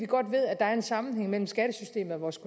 godt ved at der er en sammenhæng mellem skattesystemet og vores